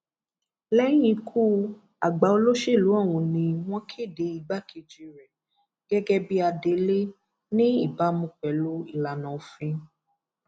lẹyìn ikú àgbà olóṣèlú ọhún ni wọn kéde igbákejì rẹ gẹgẹ bíi adelé ní ìbámu pẹlú ìlànà òfin